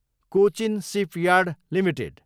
Cochin shipyard Ltd